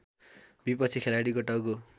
विपक्षी खेलाडीको टाउको